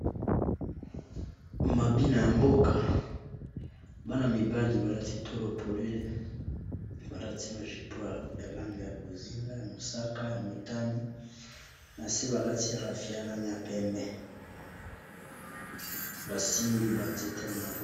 Mabina ya mboka bana mibali balati tolo polele balati ba jupon ya langi ya bozinga ya mosaka, ya motane na se balati rafia langi ya pembe basimbi ba nzete na maboko.